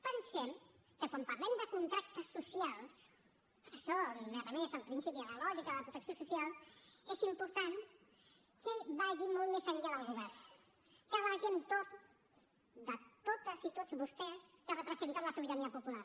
pensem que quan parlem de contractes socials per això m’he remès al principi a la lògica de protecció social és important que es vagi molt més enllà del govern que vagi entorn de totes i tots vostès que representen la sobirania popular